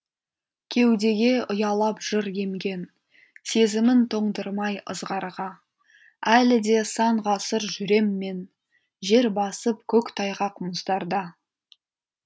кеудеге ұялап жыр емген сезімін тоңдырмай ызғарға әлі де сан ғасыр жүрем мен жер басып көк тайғақ мұздарда